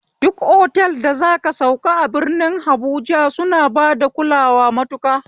Duk otal da zaka sauka a birni habuja suna bada kulawa matuƙa